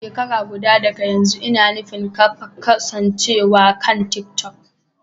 Shekara guda daga yanzu, ina nufin kafa kasancewar kan TikTok.